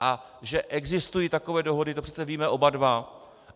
A že existují takové dohody, to přece víme oba dva.